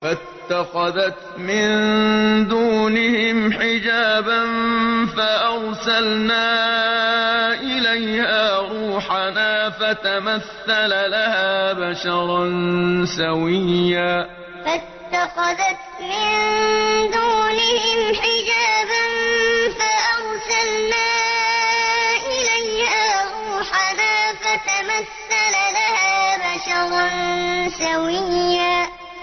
فَاتَّخَذَتْ مِن دُونِهِمْ حِجَابًا فَأَرْسَلْنَا إِلَيْهَا رُوحَنَا فَتَمَثَّلَ لَهَا بَشَرًا سَوِيًّا فَاتَّخَذَتْ مِن دُونِهِمْ حِجَابًا فَأَرْسَلْنَا إِلَيْهَا رُوحَنَا فَتَمَثَّلَ لَهَا بَشَرًا سَوِيًّا